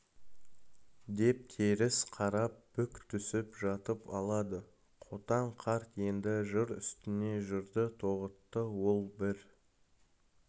деп теріс қарап бүк түсіп жатып алады қотан қарт енді жыр үстіне жырды тоғытты ол бір